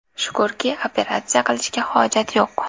Shukurki, operatsiya qilishga hojat yo‘q.